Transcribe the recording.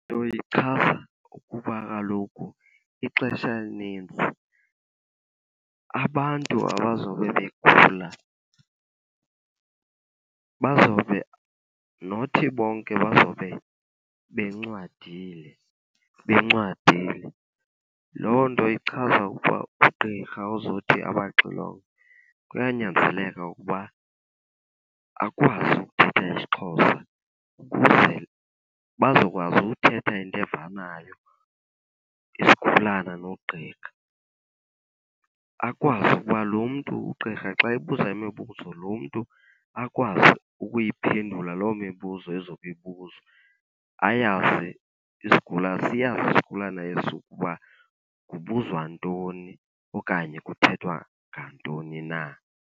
Nto ichaza ukuba kaloku ixesha elininzi abantu abazobe begula bazobe, nothi bonke bazobe bencwadile, bencwadile. Loo nto ichaza ukuba ugqirha ozothi abaxilonge kuyanyanzeleka ukuba akwazi ukuthetha isiXhosa ukuze bazokwazi uthetha into evanayo, isigulana nogqirha. Akwazi uba lo mntu ugqirha xa ebuza imibuzo lo mntu akwazi ukuyiphendula loo mibuzo izobe ibuzwa. Ayazi , siyazi isigulana esi uba kubuzwa ntoni okanye kuthethwa ngantoni na.